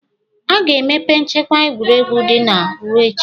Aga-emepe nchekwa egwuregwu ndị a ruo echi?